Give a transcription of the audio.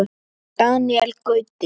Daníel Gauti.